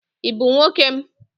Ị bụ nwoke m.